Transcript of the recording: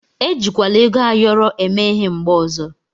E jikwala ego ayọrọ eme ịhe mgbe ọzọ.